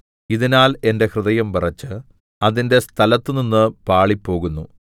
ഇതിനാൽ എന്റെ ഹൃദയം വിറച്ച് അതിന്റെ സ്ഥലത്തുനിന്ന് പാളിപ്പോകുന്നു